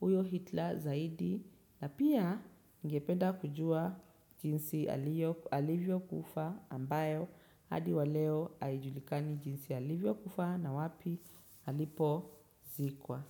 huyo Hitler zaidi na pia ningependa kujua jinsi alivyokufa ambayo hadi wa leo haijulikani jinsi alivyokufa na wapi alipozikwa.